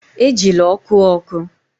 Ejila ọkụ ọkụ!